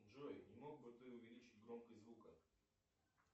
джой не мог бы ты увеличить громкость звука